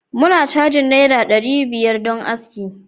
muna cajin naira dari biyar don aski